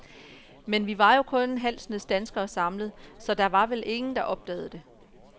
Men vi var jo kun en halv snes danskere samlet, så der var vel ingen, der opdagede det?